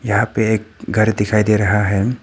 यहां पे एक घर दिखाई दे रहा है।